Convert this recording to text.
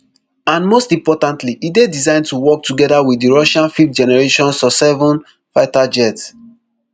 and most importantly e dey designed to work togeda wit di russia fifthgeneration susseven fighter jets